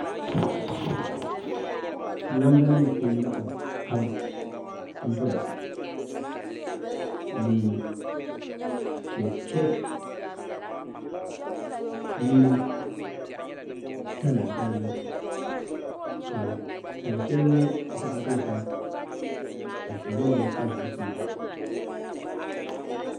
Namda nim n ku laɣam pam n doya ni chɛkchɛk mini tana balibu ka tani shɛli nyɛ zaɣ dozim n su loba ni pa zuɣusaa